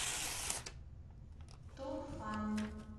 турфан